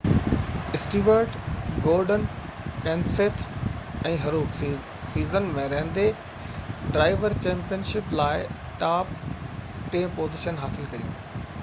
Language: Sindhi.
اسٽيورٽ گورڊن ڪينسيٿ ۽ هروڪ سيزن ۾ رهندي ڊرائيور چيمپيئن شپ جي لاءِ ٽاپ ٽين پوزيشنون حاصل ڪيون